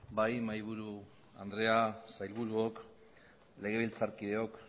bai mahaiburu andrea sailburuok legebiltzarkideok